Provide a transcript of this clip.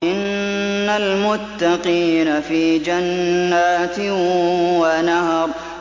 إِنَّ الْمُتَّقِينَ فِي جَنَّاتٍ وَنَهَرٍ